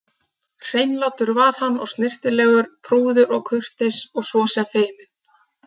Hreinlátur var hann og snyrtilegur, prúður og kurteis og svo sem feiminn.